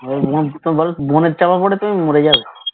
bonnet চাপা পরে তুমি মরে যাবে